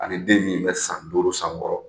Ani den min bɛ san duuru san wɔkɔrɔ